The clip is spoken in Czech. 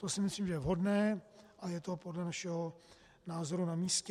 To si myslím, že je vhodné a je to podle našeho názoru na místě.